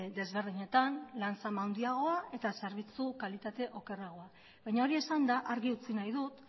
desberdinetan lan zama handiagoa eta zerbitzu kalitate okerragoa baina hori esanda argi utzi nahi dut